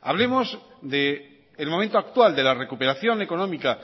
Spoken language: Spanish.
hablemos del momento actual de la recuperación económica